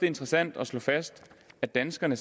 interessant at slå fast at danskerne